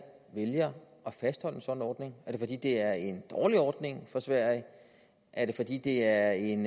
vælger at fastholde en sådan ordning er det fordi det er en dårlig ordning for sverige er det fordi det er en